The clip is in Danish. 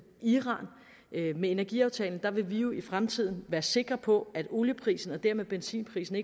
iran med energiaftalen vil vi jo i fremtiden være sikre på at olieprisen og dermed benzinprisen